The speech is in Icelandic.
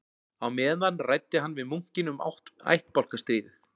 Á meðan ræddi hann við munkinn um ættbálkastríðið